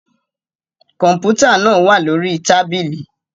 Kọmputa naa wa lori tabili